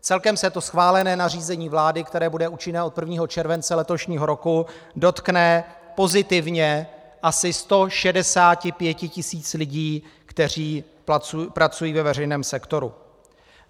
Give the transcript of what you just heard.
Celkem se to schválené nařízení vlády, které bude účinné od 1. července letošního roku, dotkne pozitivně asi 165 tisíc lidí, kteří pracují ve veřejném sektoru.